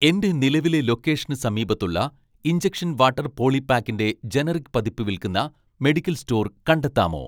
എന്റെ നിലവിലെ ലൊക്കേഷന് സമീപത്തുള്ള ഇൻജക്ഷൻ വാട്ടർ പോളിപാക്കിന്റെ ജനറിക് പതിപ്പ് വിൽക്കുന്ന മെഡിക്കൽ സ്റ്റോർ കണ്ടെത്താമോ